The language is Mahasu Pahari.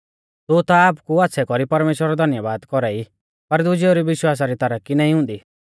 तू ता आपकु आच़्छ़ै कौरी परमेश्‍वरा रौ धन्यबाद कौरा ई पर दुजेऊ री विश्वासा दी तरक्की नाईं हुंदी